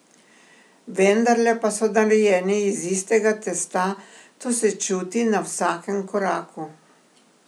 Vendarle pa so narejeni iz istega testa, to se čuti na vsakem koraku.